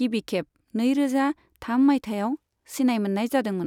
गिबिखेब नैरोजा थाम माइथायाव सिनाय मोननाय जादोंमोन।